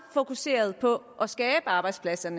fokuseret på at skabe arbejdspladser